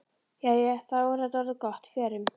Jæja, þá er þetta orðið gott. Förum.